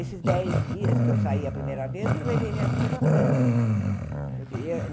Esses dez dias que eu saí a primeira vez, eu levei minha filha para França. Eu queria